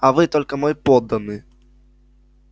а вы только мой подданный